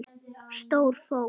Stóra fól.